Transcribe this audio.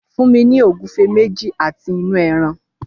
Fún mi ní ògúfe méjì àti inú ẹran!